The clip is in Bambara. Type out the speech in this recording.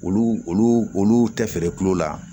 Olu olu olu tɛ feere kulo la